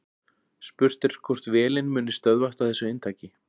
Spurt er hvort vélin muni stöðvast á þessu inntaki.